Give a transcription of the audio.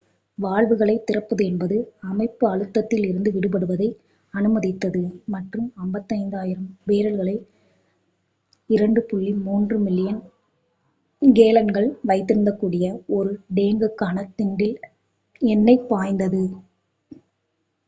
வால்வுகளைத் திறப்பதென்பது அமைப்பு அழுத்தத்தில் இருந்து விடுபடுவதை அனுமதித்தது மற்றும் 55,000 பேரல்களை 2.3 மில்லியன் கேலன்கள் வைத்திருக்கக்கூடிய ஒரு டேங்குக்கான திண்டில் எண்ணெய் பாய்ந்தது